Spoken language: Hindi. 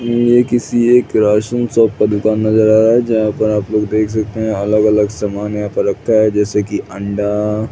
ये किसी एक राशन शॉप का दुकान नजर आ रहा है जहाँ पर आप लोग देख सकते है अलग - अलग सामन यहाँ पर रखा है जैसे की अंडा --